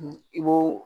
I b'o